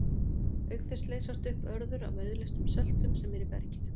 Auk þess leysast upp örður af auðleystum söltum sem eru í berginu.